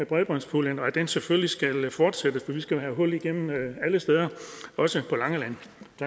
bredbåndspuljen og at den selvfølgelig skal fortsætte for vi skal jo have hul igennem alle steder også på langeland